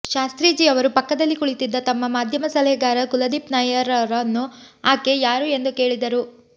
ಶಾಸ್ತ್ರೀಜಿಯವರು ಪಕ್ಕದಲ್ಲಿ ಕುಳಿತಿದ್ದ ತಮ್ಮ ಮಾಧ್ಯಮ ಸಲಹೆಗಾರ ಕುಲದೀಪ್ ನಯ್ಯರ್ರನ್ನು ಆಕೆ ಯಾರು ಎಂದು ಕೇಳಿದರು